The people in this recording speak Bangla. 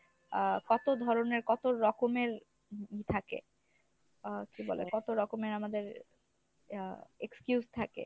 আহ কত ধরনের কত রকমের থাকে? আহ কী বলে কত রকমের আমাদের ইয়া excuse থাকে।